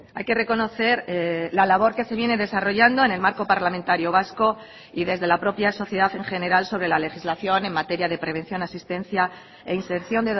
hay que reconocer la labor que se viene desarrollando en el marco parlamentario vasco y desde la propia sociedad en general sobre la legislación en materia de prevención asistencia e inserción